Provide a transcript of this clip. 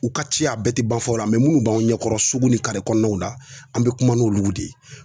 U ka ciya a bɛɛ te ban fɔlɔ munnu b'anw ɲɛkɔrɔ sugu ni kɔnɔnaw la ,an be kuma n'olu de ye.